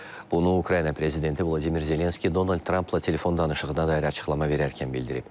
Bunu Ukrayna prezidenti Vladimir Zelenski Donald Trampla telefon danışığına dair açıqlama verərkən bildirib.